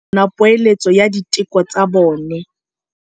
Borra saense ba dumela fela fa ba kgonne go bona poeletsô ya diteko tsa bone.